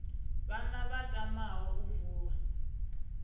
vhana vha tamaho u vula